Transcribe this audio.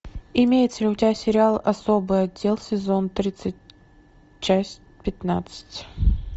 имеется ли у тебя сериал особый отдел сезон тридцать часть пятнадцать